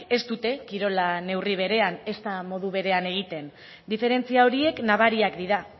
ez dute kirola neurri berean ezta modu berean egiten diferentzia horiek nabariak dira